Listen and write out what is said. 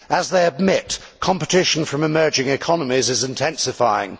As they admit, competition from emerging economies is intensifying.